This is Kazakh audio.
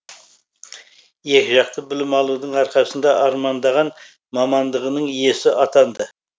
екіжақты білім алудың арқасында армандаған мамандығының иесі атанды